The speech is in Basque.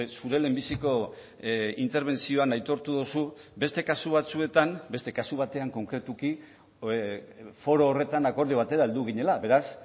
zure lehenbiziko interbentzioan aitortu duzu beste kasu batzuetan beste kasu batean konkretuki foro horretan akordio batera heldu ginela beraz